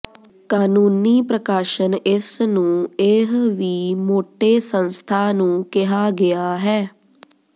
ਕਾਨੂੰਨੀ ਪ੍ਰਕਾਸ਼ਨ ਇਸ ਨੂੰ ਇਹ ਵੀ ਮੋਟੇ ਸੰਸਥਾ ਨੂੰ ਕਿਹਾ ਗਿਆ ਹੈ